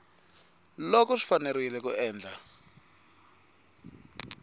loko swi fanerile ku endla